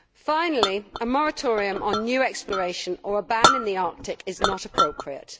Finally, a moratorium on new exploration or a ban in the Arctic is not appropriate.